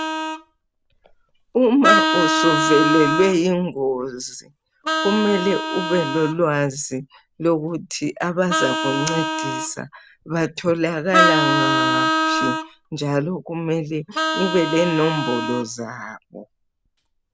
Uma usuvelelwe yingozi kumele ubelolwazi lokuthi abazakuncedisa batholakala ngaphi njalo umele ubelenombolo zabo